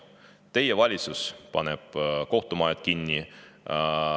Teie valitsus paneb kohtumajad kinni.